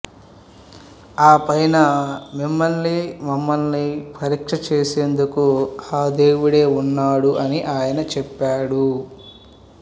ఆపైన మిమ్మలినీ మమ్మలిని పరీక్షచేసేందుకు దేవుడే ఉన్నాడు అని ఆయన చెప్పాడు